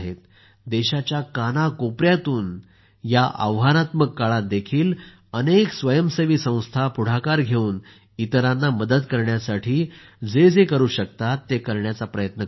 देशाच्या कानाकोपऱ्यातून या आव्हानात्मक काळात देखील अनेक स्वयंसेवी संस्था पुढाकार घेऊन इतरांची मदत करण्यासाठी जे जे करु शकतात ते करण्याचा प्रयत्न करत आहेत